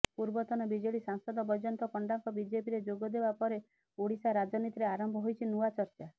ପୂର୍ବତନ ବିଜେଡି ସାଂସଦ ବୈଜୟନ୍ତ ପଣ୍ଡାଙ୍କ ବିଜେପିରେ ଯୋଗଦେବା ପରେ ଓଡ଼ିଶା ରାଜନୀତିରେ ଆରମ୍ଭ ହୋଇଛି ନୂଆ ଚର୍ଚ୍ଚା